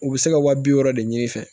U bɛ se ka wa bi wɔɔrɔ de ɲini i fɛ